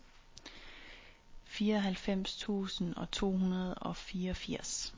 fireoghalvfems tusind to hundrede og fireogfirs